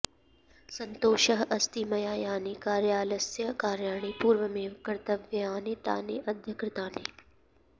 सन्तोषः अस्ति मया यानि कार्यालयस्य कार्याणि पूर्वमेव कर्तव्यानि तानि अद्य कृतानि